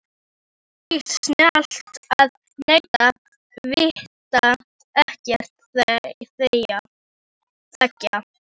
Það er víst snjallast að neita, vita ekkert, þegja.